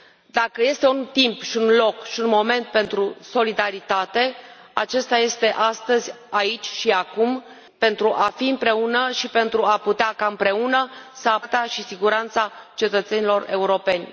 Dacă este un timp și un loc și un moment pentru solidaritate, acesta este astăzi, aici și acum, pentru a fi împreună și pentru a putea ca împreună să apărăm viețile, libertatea și siguranța cetățenilor europeni.